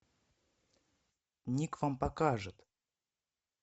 ник вам покажет